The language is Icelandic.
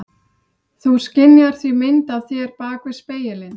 Þú skynjar því mynd af þér bak við spegilinn.